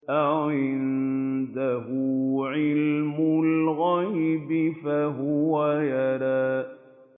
أَعِندَهُ عِلْمُ الْغَيْبِ فَهُوَ يَرَىٰ